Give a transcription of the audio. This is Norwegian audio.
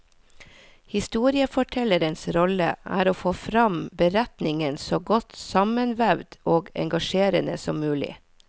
Historiefortellerens rolle er å få frem beretningen så godt sammenvevd og engasjerende som mulig.